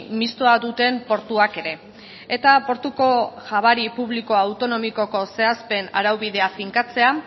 mistoa duten portuak ere eta portuko jabari publikoa autonomikoko zehazpen araubidea finkatzea